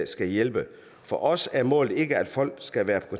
skal hjælpe for os er målet ikke at folk skal være